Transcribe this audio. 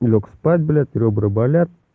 лёг спать блять ребра болят